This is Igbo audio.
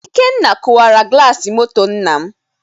Ikenna kụwara glassimotor nna m